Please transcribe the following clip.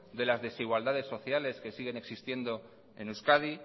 de las desigualdades sociales que siguen existiendo en euskadi